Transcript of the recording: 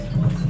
Allah.